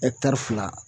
fila